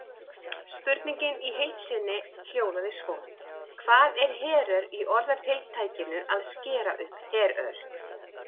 Spurningin í heild sinni hljóðaði svo: Hvað er herör í orðatiltækinu að skera upp herör?